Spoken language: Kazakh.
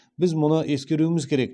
біз мұны ескеруіміз керек